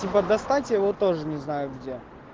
типа достать его тоже не знаю где